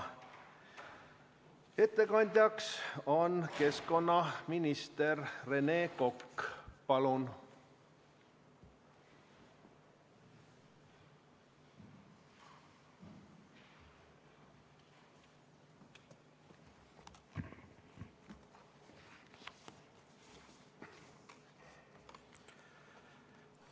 Ettekandjaks on keskkonnaminister Rene Kokk, palun!